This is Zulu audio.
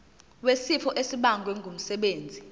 wesifo esibagwe ngumsebenzi